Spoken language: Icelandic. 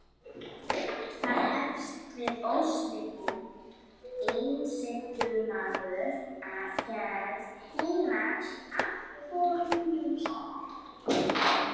Þar hefst við ósvikinn einsetumaður af gerð heilags Antóníusar.